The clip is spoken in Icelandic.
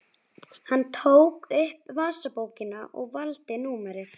Hann tók upp vasabókina og valdi númerið.